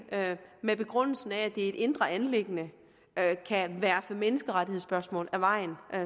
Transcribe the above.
med den begrundelse at det er et indre anliggende kan verfe menneskerettighedsspørgsmål af vejen